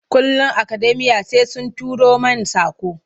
Kullum akademiya sai sun turo main saƙo.